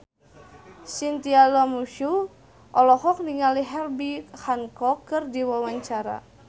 Chintya Lamusu olohok ningali Herbie Hancock keur diwawancara